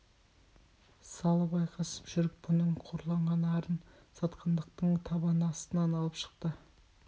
салып айқасып жүріп бұның қорланған арын сатқындықтың табан астынан алып шықты